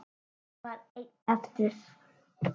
Hann var einn eftir.